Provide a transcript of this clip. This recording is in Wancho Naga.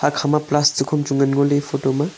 ekha plastic am chu ngan ngo ley photo maa.